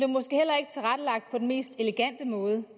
mest elegante måde